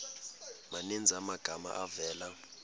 maninzi amagama avela